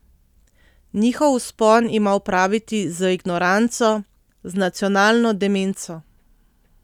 Njihov vzpon ima opraviti z ignoranco, z nacionalno demenco.